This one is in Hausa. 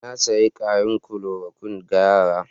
Na sayi ƙarin klorokuwin ga yara.